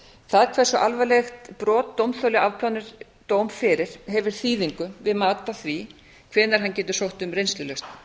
það hversu alvarlegt brot dómþoli afplánar dóm fyrir hefur þýðingu við mat á því hvenær hann getur sótt um reynslulausn